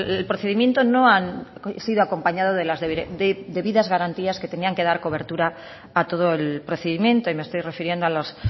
el procedimiento no ha sido acompañado de las debidas garantías que tenían que dar cobertura a todo el procedimiento y me estoy refiriendo a los